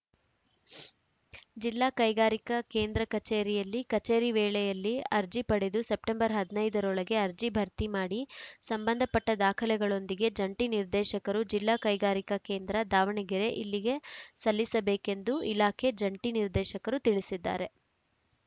ಜಿಲ್ಲಾ ಕೈಗಾರಿಕಾ ಕೇಂದ್ರ ಕಚೇರಿಯಲ್ಲಿ ಕಚೇರಿ ವೇಳೆಯಲ್ಲಿ ಅರ್ಜಿ ಪಡೆದು ಸೆಪ್ಟೆಂಬರ್ ಹದಿನೈದ ರೊಳಗೆ ಅರ್ಜಿ ಭರ್ತಿ ಮಾಡಿ ಸಂಬಂಧಪಟ್ಟದಾಖಲೆಗಳೊಂದಿಗೆ ಜಂಟಿ ನಿರ್ದೇಶಕರು ಜಿಲ್ಲಾ ಕೈಗಾರಿಕಾ ಕೇಂದ್ರ ದಾವಣಗೆರೆ ಇಲ್ಲಿಗೆ ಸಲ್ಲಿಸಬೇಕೆಂದು ಇಲಾಖೆ ಜಂಟಿ ನಿರ್ದೇಶಕರು ತಿಳಿಸಿದ್ದಾರೆ